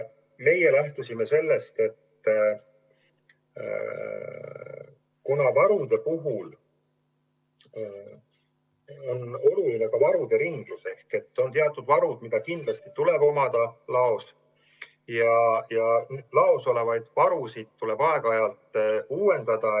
Meie lähtusime sellest, et varude puhul on oluline ka nende ringlus: on teatud varud, mis kindlasti peavad laos olema, aga laos olevaid varusid tuleb aeg-ajalt uuendada.